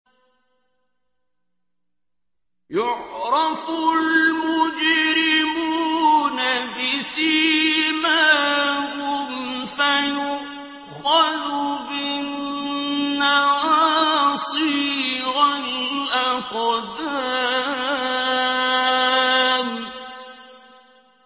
يُعْرَفُ الْمُجْرِمُونَ بِسِيمَاهُمْ فَيُؤْخَذُ بِالنَّوَاصِي وَالْأَقْدَامِ